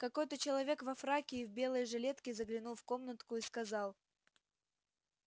какой-то человек во фраке и в белой жилетке заглянул в комнатку и сказал